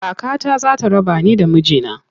Kakata za ta raba ni da miji na.